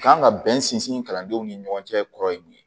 Kan ka bɛn sinsin kalandenw ni ɲɔgɔn cɛ kɔrɔ ye mun ye